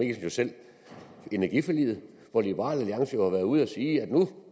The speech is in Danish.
jo selv energiforliget hvor liberal alliance har været ude at sige at nu